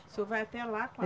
O senhor vai até lá com a